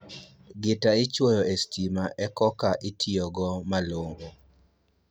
Gita ichuoyo e sitima e koka itiyo go malong'o